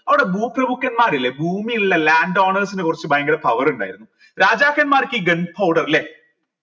അവിടെ ഭൂമിയിലുള്ള land owners ന് കൊറച്ച് ഭയങ്കര power ഇണ്ടായിരുന്നു രാജാക്കന്മാർക്ക് ഈ gun powder ല്ലെ